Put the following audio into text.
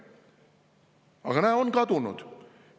Aga näe, ta on kadunud.